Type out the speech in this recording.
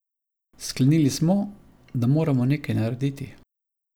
Sklenili smo, da moramo nekaj narediti.